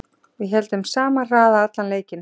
Héldum sama hraða allan leikinn